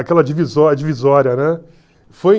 Aquela divisó divisória, né? Foi